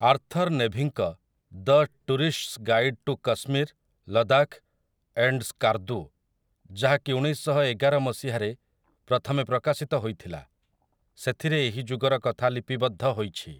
Arthur ନେଭିଙ୍କ 'the tourist's guide to Kashmir, Ladakh, and Skardu', ଯାହାକି ଉଣେଇଶଶହଏଗାର ମସିହାରେ ପ୍ରଥମେ ପ୍ରକାଶିତ ହୋଇଥିଲା, ସେଥିରେ ଏହି ଯୁଗର କଥା ଲିପିବଦ୍ଧ ହୋଇଛି ।